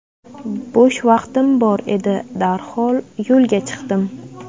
Bo‘sh vaqtim bor edi, darhol yo‘lga chiqdim.